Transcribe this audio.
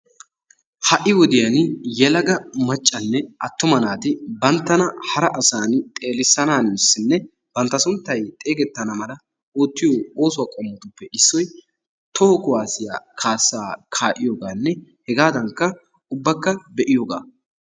Ha"i wodiyan yelaga maccanne attuma naati banttana hara asani xeelisanassinne bantta sunttay xeegetana mala oottiyo oosuwaa qommotuppe issoy toho kuwasiya kaassaa ka'iyogaanne hegaadankka ubbakka be'iyogaa.